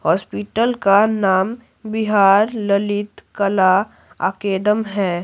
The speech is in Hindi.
हॉस्पिटल का नाम बिहार ललित कला अकेदम है।